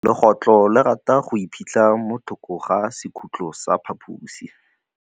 Legôtlô le rata go iphitlha mo thokô ga sekhutlo sa phaposi.